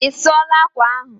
Isuola akwa ahụ?